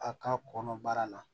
A ka kɔnɔbara la